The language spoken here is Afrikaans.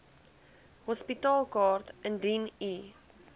hospitaalkaart indien u